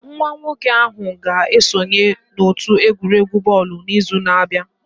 Nwa nwoke ahụ ga-esonye n'otu egwuregwu bọọlụ n'izu na-abịa